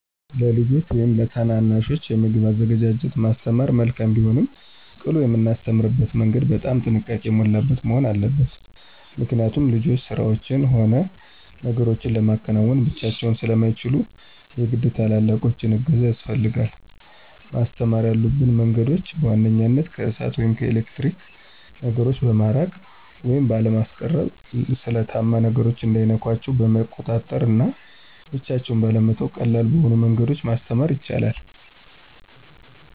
ለልጆች ወይም ለታናናሾች የምግብን አዘገጃጀት ማስተማር መልካም ቢሆንም ቅሉ የምናስተምርበትም መንገድ በጣም ጥንቃቄ የሞላበት መሆን አለበት። ምክኒያት ልጆች ስራዎችን ሆነ ነገሮችን ለማከናወን ብቻቸውን ስለማይችሉ የግድ የትላላቆቹ እገዛ ያስፈልጋል። ማስተማር ያሉብን መንገዶችም፦ በዋንኛነት ከእሳት ወይም ከኤሌክትሪክ ነገሮ በማራቅ ወይም ባለማስቀረብ፣ ስለታማ ነገሮች እንዳይነኳቸው በመቆጣጠር እና ብቻቸውን ባለመተው ቀላል በሆኑ መንገዶች ማስተማር ይቻላል።